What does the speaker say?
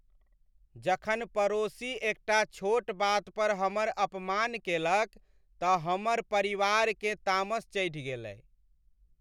जखन पड़ोसी एकटा छोट बात पर हमर अपमान केलक तऽ हमर परिवारकेँ तामस चढ़ि गेलै ।